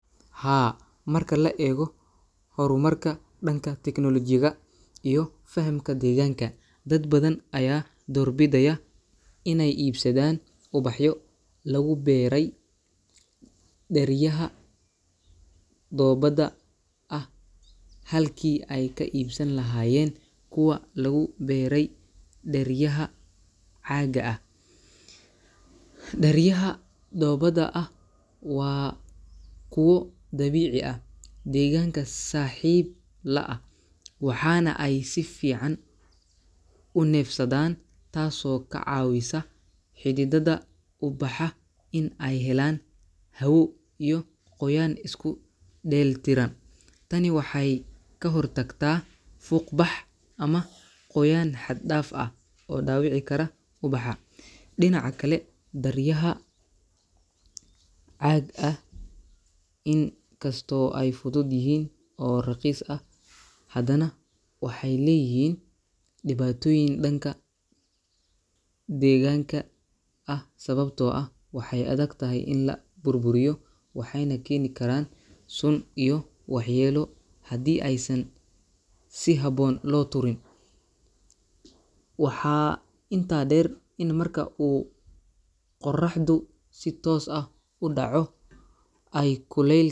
Haa, marka la eego hor marka danka teknolojiyada iyo fahamka deeganka dad badan ayaa door bidaaya inaay iibsadaan ubaxyo lagu beere deeryaha doobada ah halki aay ka iibsan lahayeen kuwa lagu beere deeryaha caaga ah, deeryaha doobada ah waa kuwo dabiici ah deeganka saxiib la ah waxaana aay si fican u nefsadaan taas oo kacawiso xididada ubaxa in aay helaan hawo iyo qoyaan isku deeli Tiran, tani waxeey ka hor tagta fuuq bax ama qoyaan xad daaf ah oo daawici kara ubaxa, dinaca kale deeryaha caaga ah in kasto aay fudud yihiin oo raqiis ah hadana waxeey leeyihiin dibatoyin danka deeganka ah sababta oo ah waay adag tahay in la burburiyo waxeeyna keeni karaan sun iyo wax yeelo hadii aay san si haboon loo tuurin, waxaa inta deer in marku uu qoraxda si toos ah udaco aay kuleel.